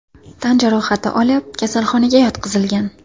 tan jarohati olib, kasalxonaga yotqizilgan.